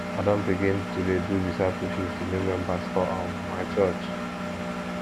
i don begin to dey do discipleship to new members for um my church